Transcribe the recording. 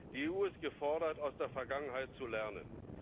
Die EU ist gefordert, aus der Vergangenheit zu lernen.